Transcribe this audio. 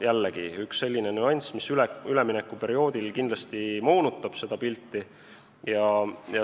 Jällegi, üks selline nüanss, mis üleminekuperioodil kindlasti moonutab üldpilti.